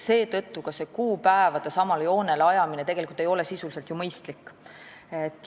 Seetõttu ei ole ka see kuupäevade samale joonele ajamine sisuliselt mõistlik.